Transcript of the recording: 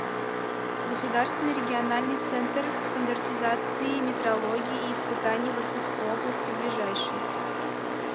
государственный региональный центр стандартизации метрологии и испытаний в иркутской области ближайший